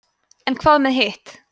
en hvað með hitt